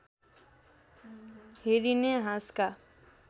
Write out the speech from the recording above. हेरिने हाँसका